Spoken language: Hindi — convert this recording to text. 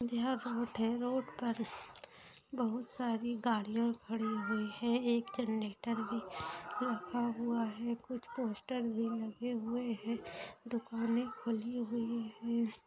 यह रोड रोड पर बहुत सारी गाड़ियां खड़ी हुई हैं एक जनरेटर भी रखा हुआ है कुछ पोस्टर भी लगे हुए हैं दुकानें खुली हुई हैं।